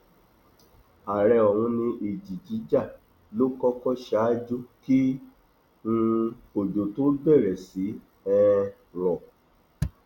àárẹ ọhún ni ìjì jíjà ló kọkọ ṣáájú kí um òjò tóó bẹrẹ sí í um rọ